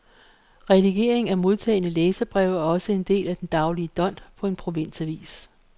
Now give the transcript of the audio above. Redigering af modtagne læserbreve er også en del af den daglige dont på en provinsavis.